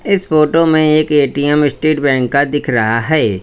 इस फोटो में एक ए_टी_एम स्टेट बैंक का दिख रहा है।